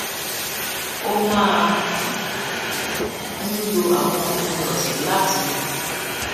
ó máa ń lo àwọn òpin òsè láti